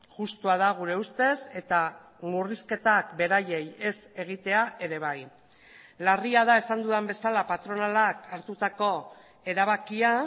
justua da gure ustez eta murrizketak beraiei ez egitea ere bai larria da esan dudan bezala patronalak hartutako erabakia